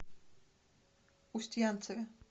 устьянцеве